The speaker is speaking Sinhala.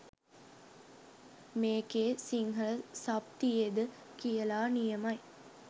මේකෙ සිංහල සබ් තියෙද කියලා නියමයි